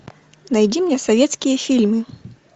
найди мне советские фильмы